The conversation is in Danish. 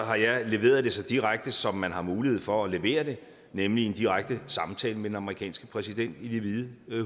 har jeg leveret det så direkte som man har mulighed for at levere det nemlig i en direkte samtale med den amerikanske præsident i det hvide